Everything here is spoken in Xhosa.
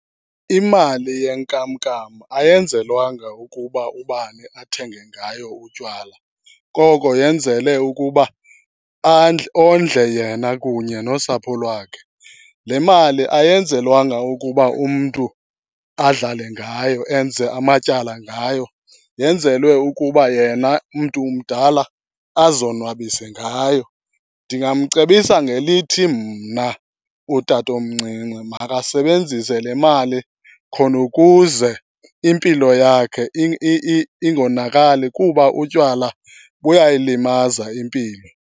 Imali yenkamnkam ayenzelwanga ukuba ubani athenge ngayo utywala, koko yenzelwe ukuba ondle yena kunye nosapho lwakhe. Le mali ayenzelwanga ukuba umntu adlale ngayo enze amatyala ngayo, yenzelwe ukuba yena mntu mdala azonwabise ngayo. Ndingamcebisa ngelithi mna utatomncinci makasebenzise le mali khona ukuze impilo yakhe ingonakali kuba utywala buyayilimaza impilo.